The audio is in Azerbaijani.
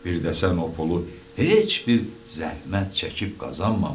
Birdə sən o pulu heç bir zəhmət çəkib qazanmamısan.